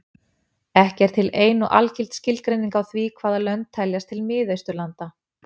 Ekki er til ein og algild skilgreining á því hvaða lönd teljast til Mið-Austurlanda.